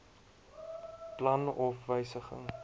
plan of wysiging